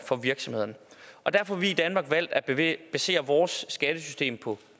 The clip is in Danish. for virksomhederne og derfor har vi i danmark valgt at basere vores skattesystem på